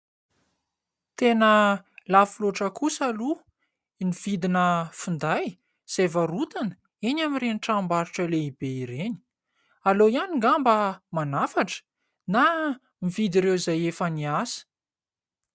Tena lafo loatra kosa aloha ny vidina finday izay varotana eny amin'ireny tranombarotra lehibe ireny. Aleo ihany angamba manafatra na mividy ireo izay efa niasa.